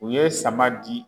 U ye sama di.